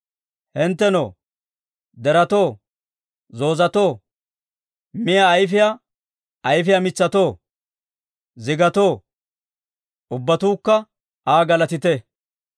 Hinttenoo, deretoo, zoozetoo, Miyaa ayifiyaa ayifiyaa mitsatoo, zigatoo, ubbatuukka Aa galatite.